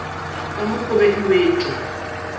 ka mo gobe e wetšwa